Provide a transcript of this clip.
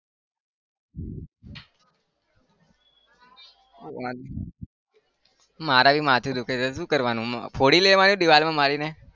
મારે भी માથું દુખે છે શું કરવાનું? ફોડી દેવાનું દીવાલમાં મારીને?